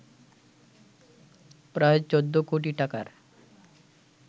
প্রায় ১৪ কোটি টাকার